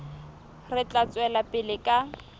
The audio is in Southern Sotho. re tla tswela pele ka